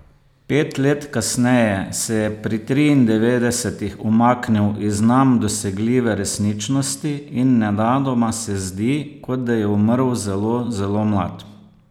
Pet let kasneje se je pri triindevetdesetih umaknil iz nam dosegljive resničnosti in nenadoma se zdi, kot da je umrl zelo zelo mlad.